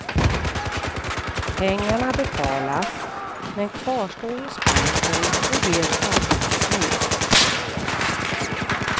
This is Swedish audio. Pengarna betalas men kvarstår hos banken och ger avkastning.